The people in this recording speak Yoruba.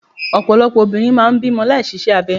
Ọ̀pọ̀lọpọ̀ obìnrin máà ń bímọ láì ṣiṣẹ́ abẹ.